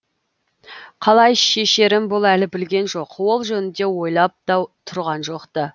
қалай шешерін бұл әлі білген жоқ ол жөнінде ойлап та тұрған жоқ та